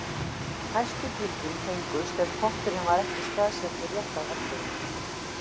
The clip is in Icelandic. Hæstu gildin fengust ef potturinn var ekki staðsettur rétt á hellunni.